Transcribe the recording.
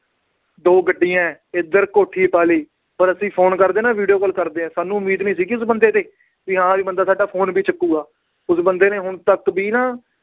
ਦੋ ਗੱਡੀਆਂ ਹੈ ਇੱਧਰ ਕੋਠੀ ਪਾ ਲਈ ਹੋਰ ਅਸੀਂ phone ਕਰਦੇ ਹਾਂ ਨਾ video call ਕਰਦੇ ਹਾਂ ਸਾਨੂੰ ਉਮੀਦ ਨੀ ਸੀਗੀ ਉਸ ਬੰਦੇ ਤੇ ਵੀ ਹਾਂ ਵੀ ਬੰਦਾ ਸਾਡਾ phone ਵੀ ਚੁੱਕੇਗਾ ਉਸ ਬੰਦੇ ਨੇ ਹੁਣ ਤੱਕ ਵੀ ਨਾ